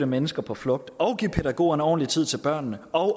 mennesker på flugt og give pædagogerne ordentlig tid til børnene og